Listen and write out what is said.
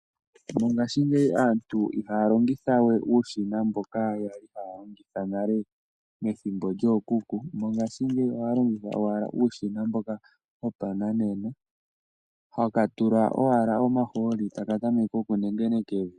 Mongashingeyi aantu ihaya longitha we uushina mboka yali haya longitha nale methimbo lyookuku mongashingeyi ohaya longitha owala uushina mboka wopananena, haka tulwa owala omahooli taka tameke okunengeneka evi.